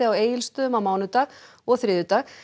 á Egisstöðum á mánudag og þriðjudag